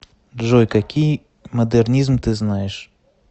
джой какие модернизм ты знаешь